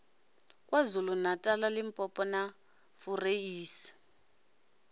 kwazulu natala limpopo na fureisi